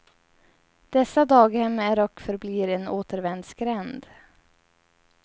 Dessa daghem är och förblir en återvändsgränd.